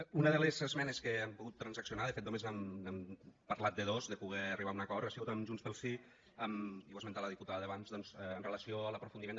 una de les esmenes que hem pogut transaccionar de fet només hem parlat de dos de poder arribar a un acord ha sigut amb junts pel sí i ho ha esmentat la diputada abans doncs amb relació a l’aprofundiment